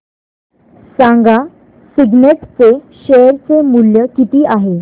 सांगा सिग्नेट चे शेअर चे मूल्य किती आहे